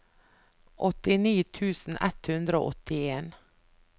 åttini tusen ett hundre og åttien